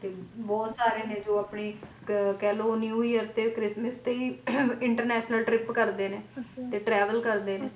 ਬਹੁਤ ਸਾਰੇ ਨੇ ਜੋ ਆਪਣੀ ਕਹਿਲੋ New Year ਤੇ christmas ਤੇ ਹੀ International trip ਕਰਦੇ ਨੇ ਤੇ travel ਕਰਦੇ ਨੇ